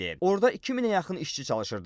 Orda 2000-ə yaxın işçi çalışırdı.